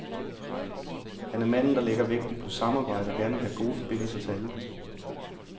Han er manden, der lægger vægten på samarbejde og gerne vil have gode forbindelser til alle.